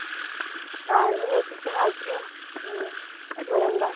आज मेथीची भाजी. आणि वरण-भात.